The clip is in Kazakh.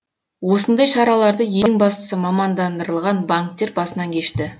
осындай шараларды ең бастысы мамандандырылған банктер басынан кешті